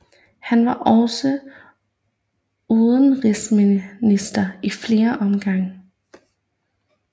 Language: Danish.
Han var også udenrigsminister i flere omgange